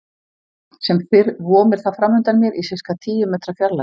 Sem fyrr vomir það framundan mér í sirka tíu metra fjarlægð.